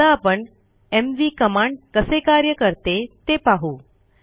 आता आपण MV command कसे कार्य करते ते पाहू